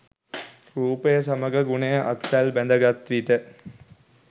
රූපය සමඟ ගුණය අත්වැල් බැඳ ගත් විට